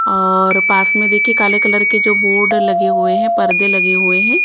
और पास में देखिए काले कलर के जो बोर्ड लगे हुए हैं पर्दे लगे हुए हैं।